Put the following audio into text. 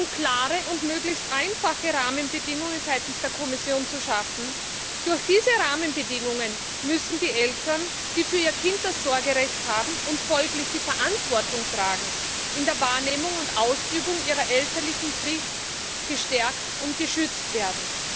Es sind klare und möglichst einfache Rahmenbedingungen seitens der Kommission zu schaffen. Durch diese Rahmenbedingungen müssen die Eltern, die für ihr Kind das Sorgerecht haben und folglich die Verantwortung tragen, in der Wahrnehmung und Ausübung ihrer elterlichen Pflicht gestärkt und geschützt werden.